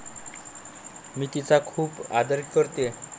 मी तिचा खूप आदर करते.